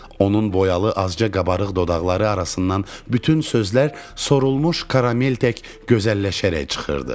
Onun boyalı azca qabarıq dodaqları arasından bütün sözlər sorulmuş karamel tək gözəlləşərək çıxırdı.